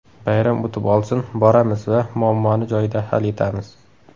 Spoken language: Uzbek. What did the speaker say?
Bayram o‘tib olsin, boramiz va muammoni joyida hal etamiz”.